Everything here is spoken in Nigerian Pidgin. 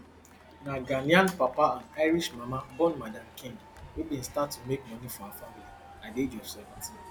na ghanaian papa and irish mama born madam king wey bin start to make money for her family at di age of seventeen